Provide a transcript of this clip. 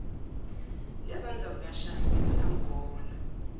nezandla zikashaka ebezingamgona